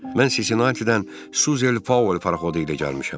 Mən Sisinatidən Suzel Paul paraxodu ilə gəlmişəm.